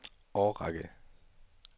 årrække